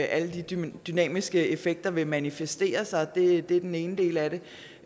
alle de dynamiske effekter vil manifestere sig det er den ene del af det